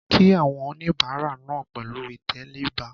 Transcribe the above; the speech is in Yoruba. Kí àwọn oníbàárà náà pẹ̀lú ìtẹríba